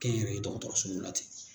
Kɛnyɛrɛ ye dɔgɔtɔrɔsow la ten.